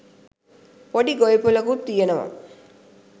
පොඩි ගොවිපලකුත් තියෙනවා.